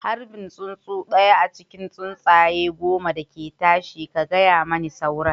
Harbi tsuntsu ɗaya a cikin tsuntsaye goma da ke tashi, ka gaya mani sauran